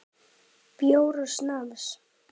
Bjór og snafs.